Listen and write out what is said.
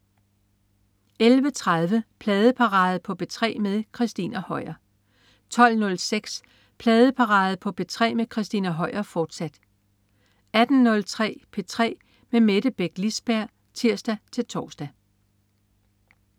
11.30 Pladeparade på P3 med Christina Høier 12.06 Pladeparade på P3 med Christina Høier, fortsat 18.03 P3 med Mette Beck Lisberg (tirs-tors)